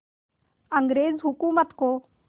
अंग्रेज़ हुकूमत को